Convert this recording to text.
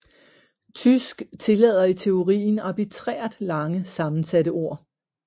Tysk tillader i teorien arbitrært lange sammensatte ord